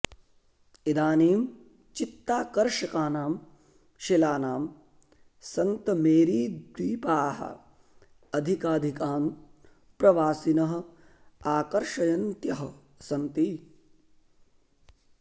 इदानीं चित्ताकर्षकानां शिलानां सन्तमेरीद्वीपाः अधिकाधिकान् प्रवासिनः आकर्षयन्त्यः सन्ति